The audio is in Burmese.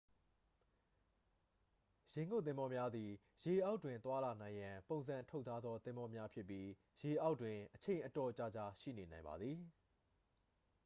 ရေငုပ်သင်္ဘောများသည် ရေအောက်တွင်သွားလာနိုင်ရန် ပုံစံထုတ်ထားသော သင်္ဘောများဖြစ်ပြီး ရေအောက်တွင် အချိန်အတော်ကြာကြာ ရှိနေနိုင်ပါသည်